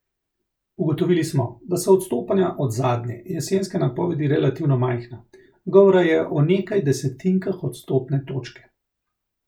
Ugotovili smo, da so odstopanja od zadnje, jesenske napovedi relativno majhna, govora je o nekaj desetinkah odstotne točke.